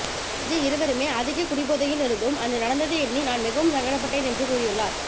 அன்று இருவருமே அதிக குடிபோதையில் இருந்தோம் அன்று நடந்ததை எண்ணி நான் மிகவும் சங்கடப் பட்டேன் என்று கூறியுள்ளார்